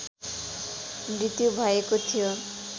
मृत्यु भएको थियो